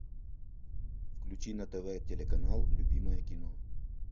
включи на тв телеканал любимое кино